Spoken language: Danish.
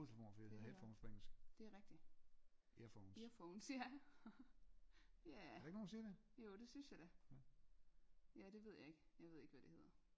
Det er rigtigt eaphones ja jae jo det synes jeg da ja det ved jeg ikke jeg ved ikke hvad det hedder